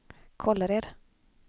Kållered